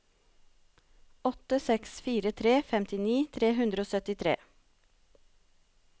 åtte seks fire tre femtini tre hundre og syttitre